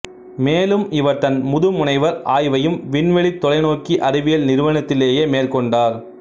மேலும் இவர் தன் முதுமுனைவர் ஆய்வையும் விண்வெளித் தொலைநோக்கி அறிவியல் நிறுவனத்திலேயே மேற்கொண்டார்